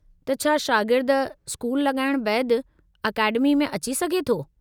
त छा शागिर्द स्कूल लॻाइणु बैदि अकेडमी में अची सघे थो।